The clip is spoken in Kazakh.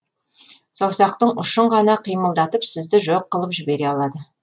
саусақтың ұшын ғана қимылдатып сізді жоқ қылып жібере алады